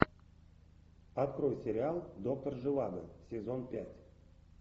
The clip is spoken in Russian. открой сериал доктор живаго сезон пять